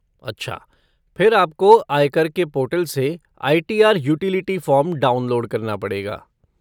अच्छा, फिर आपको आय कर के पोर्टल से आई.टी.आर. यूटिलिटी फ़ॉर्म डाउनलोड करना पड़ेगा।